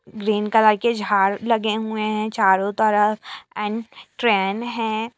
Green colour के झाड़ लगे हुए है चारों तरफ एण्ड ट्रेन है।